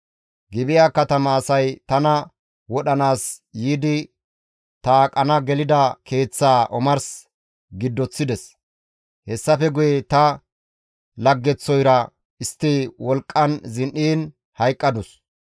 Gibi7a katama asay tana wodhanaas yiidi ta aqana gelida keeththaa omars giddoththides; hessafe guye ta laggeththoyra istti wolqqan zin7iin hayqqadus.